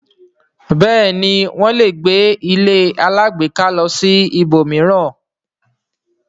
bẹẹni wón lẹ gbé ilé alágbèéká ló sì lilọ ibòmíràn.